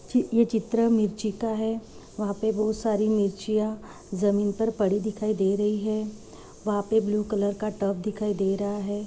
च ये चित्र मिर्ची का है वहाँ पे बहुत सारी मिर्चीया जमीन पर पड़ी दिखाई दे रही है वहाँ पे ब्लू कलर का टब दिखाई दे रहा है।